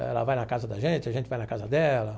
Ela vai na casa da gente, a gente vai na casa dela.